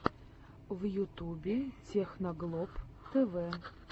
в ютюбе техноглоб тэвэ